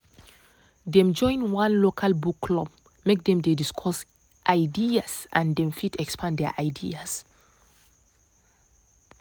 dem join one local book club make dem dey discuss ideas and dem fit expand their ideas